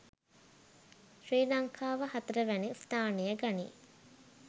ශ්‍රී ලංකාව හතරවැනි ස්ථානය ගනී